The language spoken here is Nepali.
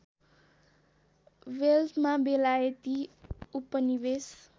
वेल्समा बेलायती उपनिवेश